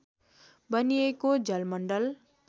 बनिएको जलमण्डल